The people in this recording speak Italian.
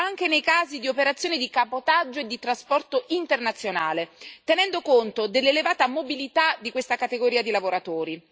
anche nei casi di operazioni di cabotaggio e di trasporto internazionale, tenendo conto dell'elevata mobilità di questa categoria di lavoratori.